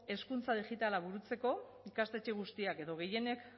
hezkuntza digitala burutzeko ikastetxe guztiek edo gehienek